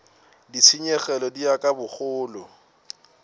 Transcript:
ditshenyegelo di ya ka bogolo